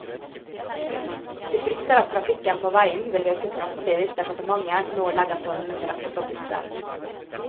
De frykter at trafikken på veien vil øke kraftig, hvis departementet nå legger forholdene til rette for busser.